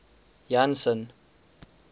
janson